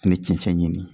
Ani cɛncɛn ɲini